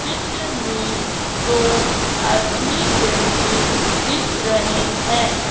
चित्र में दो आदमी बैठे दिख रहें हैं।